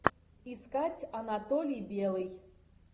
искать анатолий белый